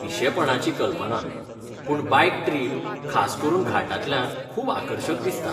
पिशेपणाची कल्पना, पूण बायक ट्रिप, खास करून घाटांतल्यान खूब आकर्शक दिसता.